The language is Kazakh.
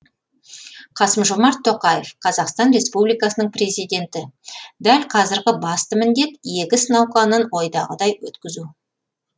қасым жомарт тоқаев қазақстан республикасының президенті дәл қазіргі басты міндет егіс науқанын ойдағыдай өткізу